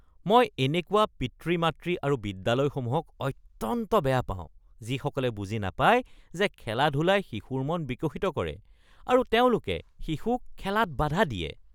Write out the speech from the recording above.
মই এনেকুৱা পিতৃ-মাতৃ আৰু বিদ্যালয়সমূহক অত্যন্ত বেয়া পাওঁ যিসকলে বুজি নাপায় যে খেলা-ধূলাই শিশুৰ মন বিকশিত কৰে আৰু তেওঁলোকে শিশুক খেলাত বাধা দিয়ে।